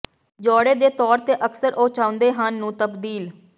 ਜੋੜੇ ਦੇ ਤੌਰ ਤੇ ਅਕਸਰ ਉਹ ਚਾਹੁੰਦੇ ਹਨ ਨੂੰ ਤਬਦੀਲ